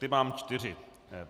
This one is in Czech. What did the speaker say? Ty mám čtyři.